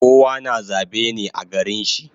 Kowa na zabe ne a garin shi